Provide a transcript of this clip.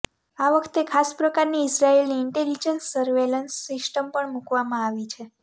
આ વખતે ખાસ પ્રકારની ઈઝરાઈલની ઈન્ટેલીજન્સ સર્વેલન્સ સિસ્ટમ પણ મુકવામાં આવી છે